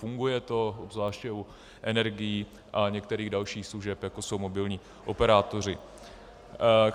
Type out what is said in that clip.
Funguje to, obzvláště u energií a některých dalších služeb, jako jsou mobilní operátoři.